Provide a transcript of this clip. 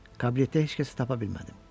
Kabinetdə heç kəsi tapa bilmədim.